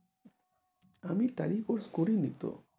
আমি ট্যালির course করিনি তো